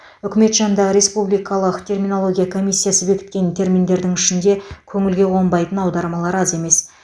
үкімет жанындағы республикалық терминология комиссиясы бекіткен терминдердің ішінде көңілге қонбайтын аудармалар аз емес